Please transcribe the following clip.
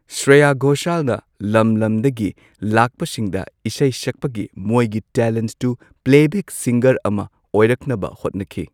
ꯁ꯭ꯔꯦꯌꯥ ꯒꯣꯁꯥꯜꯅ ꯂꯝ ꯂꯝꯗꯒꯤ ꯂꯥꯛꯄꯁꯤꯡꯗ ꯏꯁꯩ ꯁꯛꯄꯒꯤ ꯃꯣꯏꯒꯤ ꯇꯦꯂꯦꯟꯠꯇꯨ ꯄ꯭ꯂꯦꯕꯦꯛ ꯁꯤꯡꯒꯔ ꯑꯃ ꯑꯣꯏꯔꯛꯅꯕ ꯍꯣꯠꯅꯈꯤ꯫